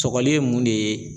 Sɔgɔli ye mun de ye?